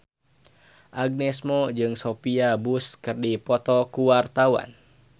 Agnes Mo jeung Sophia Bush keur dipoto ku wartawan